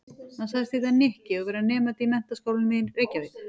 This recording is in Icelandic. Hann sagðist heita Nikki og vera nemandi í Menntaskólanum í Reykjavík.